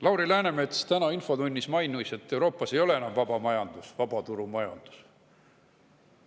Lauri Läänemets mainis täna infotunnis, et Euroopas ei ole enam vabaturumajandus.